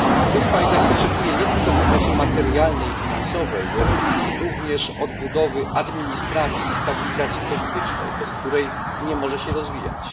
Wyspa jednak potrzebuje nie tylko pomocy materialnej i finansowej, lecz również odbudowy administracji i stabilizacji politycznej, bez której nie może się rozwijać.